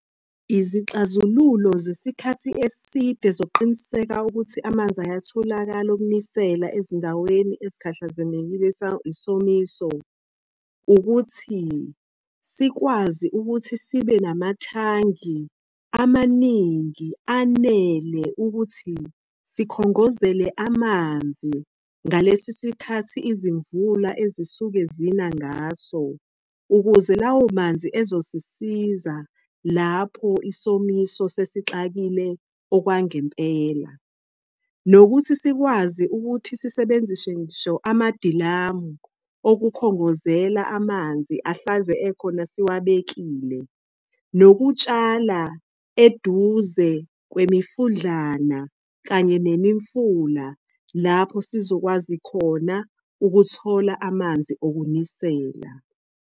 Izixazululo zesikhathi eside zokuqiniseka ukuthi amanzi ayatholakala okunisela ezindaweni ezikhahlamezeke isomiso. Ukuthi sikwazi ukuthi sibe namathangi amaningi anele ukuthi sikhongozele amanzi ngalesisikhathi izimvula ezisuke zina ngaso. Ukuze lawo manzi ezosisiza lapho isomiso sesixakile okwangempela. Nokuthi sikwazi ukuthi sisebenzise ngisho amadilamu okukhongozela amanzi ahlanze ekhona siwabekile. Nokutshala eduze kwemifudlana kanye nemifula, lapho sizokwazi khona ukuthola amanzi okunisela.